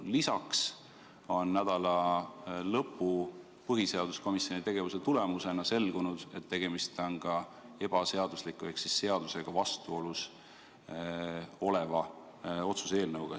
Lisaks on nädalalõpu põhiseaduskomisjoni tegevuse tulemusena selgunud, et tegemist on ka ebaseadusliku ehk seadusega vastuolus oleva otsuse eelnõuga.